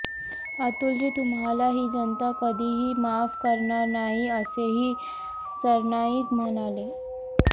अतुलजी तुम्हाला ही जनता कधीही माफ करणार नाही असेही सरनाईक म्हणाले